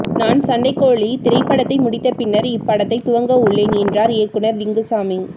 நான் சண்ட கோழி திரைப்படத்தை முடித்த பின்னர் இப்படத்தை துவங்கவுள்ளேன் என்றார் இயக்குநர் லிங்குசாமி